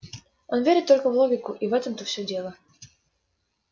он верит только в логику и в этом-то все дело